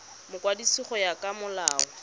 mokwadisi go ya ka molao